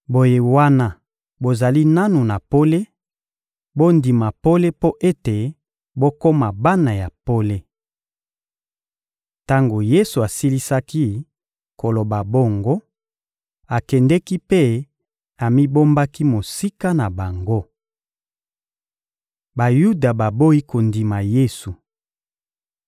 Boye wana bozali nanu na pole, bondima pole mpo ete bokoma bana ya pole. Tango Yesu asilisaki koloba bongo, akendeki mpe amibombaki mosika na bango. Bayuda baboyi kondima Yesu